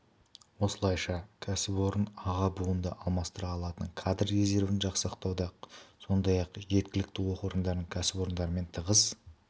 осылайша кәсіпорын аға буынды алмастыра алатын кадр резервін жасақтауда сондай-ақ жергілікті оқу орындары кәсіпорындармен тығыз